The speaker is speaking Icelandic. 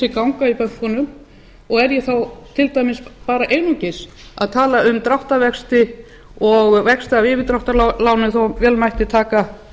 ganga í bönkunum og er ég þá til dæmis bara einungis að tala um dráttarvexti og vexti af yfirdráttarlánum þó vel mætti taka